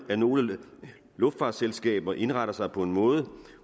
at nogle luftfartsselskaber indretter sig på en måde